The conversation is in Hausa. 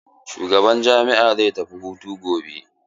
Shugaban jami'a zai tafi hutu gobe.